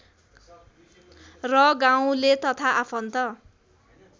र गाउँले तथा आफन्त